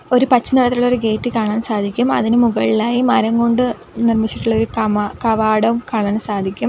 ഒരു പച്ച നിറത്തിലുള്ളൊരു ഗേറ്റ് കാണാൻ സാധിക്കും അതിനു മുകളിലായി മരം കൊണ്ട് നിർമ്മിച്ചിട്ടുള്ളൊരു കമാ കവാടവും കാണാൻ സാധിക്കും.